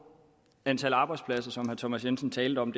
antal arbejdspladser som herre thomas jensen talte om